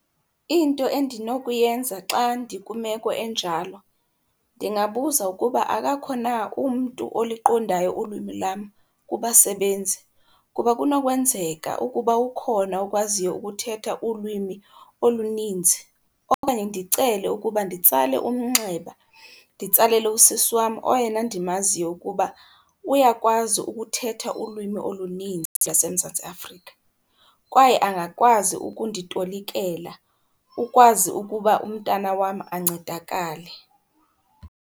Into endinokuyenza xa ndikwimeko enjalo, ndingabuza ukuba akakho na umntu oliqondayo ulwimi lam kubasebenzi, kuba kunokwenzeka ukuba ukhona okwaziyo ukuthetha ulwimi olunintsi. Okanye ndicele ukuba nditsale umnxeba, nditsalele usisi wam oyena ndimaziyo ukuba uyakwazi ukuthetha ulwimi olunintsi laseMzantsi Afrika, kwaye angakwazi ukunditolikela, ukwazi ukuba umntana wam ancedakale.